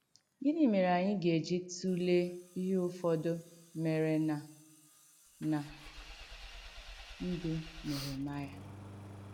Gìnì mèrè ànyị̣ ga-ejì tùleè ìhé ùfọ̀dù mèrè ná ná ndú Nèhèmàịà?